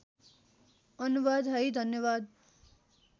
अनुवाद है धन्यवाद